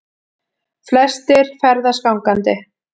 Flestir ferðist gangandi